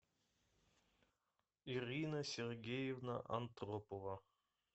ирина сергеевна антропова